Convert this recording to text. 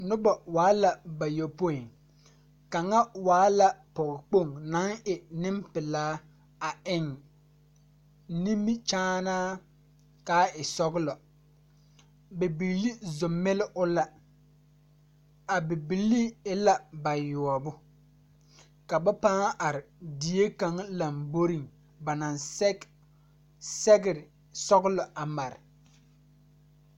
Nobɔ waala bayopoi kaŋa waa la pɔge Kpoŋ naŋ e neŋpilaa a eŋ nimikyaanaa kaa e sɔglɔ bibiire zo mile o la a bibilii e la bayoɔbo ka ba pãã are die kaŋa lamboreŋ ba naŋ sɛge sɛgre sɔglɔ a mare.